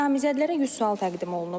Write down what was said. Namizədlərə 100 sual təqdim olunub.